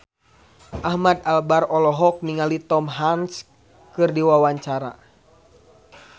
Ahmad Albar olohok ningali Tom Hanks keur diwawancara